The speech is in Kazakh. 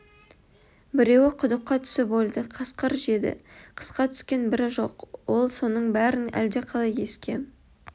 біреуі құдыққа түсіп өлді қасқыр жеді қысқа түскен бірі жоқ ол соның бәрін әлде қалай еске